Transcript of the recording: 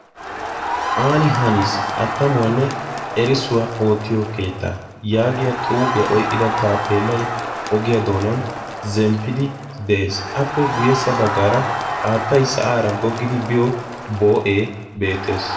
Aani haniis attamuwaanne erisuwaa oottiyo keetta' yaagiya xuufiyaa oiqqida taapeellai ogiyaa doonan zemppidi detees. appe guyyessa baggaara haattai sa'aara goggidi biyo boo'ee beettees.